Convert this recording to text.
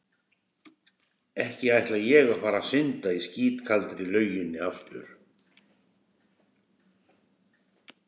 Ekki ætla ég að fara að synda í skítkaldri lauginni aftur.